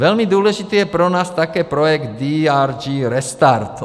Velmi důležitý je pro nás také projekt DRG Restart.